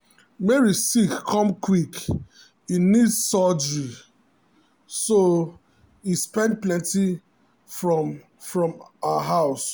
mary sick come quick e need surgery so e spend plenty moni from her house.